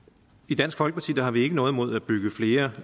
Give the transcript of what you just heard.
i dansk folkeparti har vi ikke noget imod at bygge flere